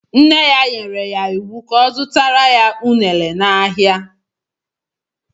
Nne ya nyere ya iwu ka ọ zụtara ya unere n'ahịa.